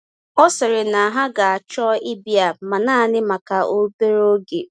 Ọ sịrị na ha ga-achọ ịbịa, ma naanị maka obere oge.